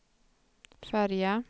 färja